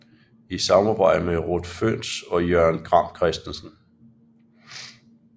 I samarbejde med Ruth Fønss og Jørgen Gram Christensen